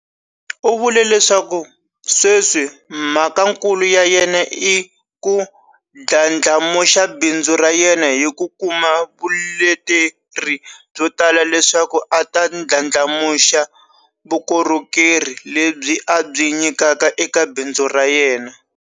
U vule leswaku sweswi mhakakulu ya yena i ku ndlandlamuxa bindzu ra yena hi ku kuma vuleteri byo tala leswaku a ta ndlandlamuxa vukorhokerhi lebyi a byi nyikaka eka bindzu ra yena.